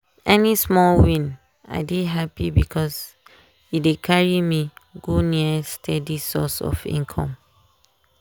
any small win i dey happy because e dey carry me go near steady source of income.